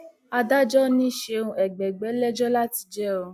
adájọ ni ṣeun ẹgbẹgbẹ lẹjọ láti jẹ ọ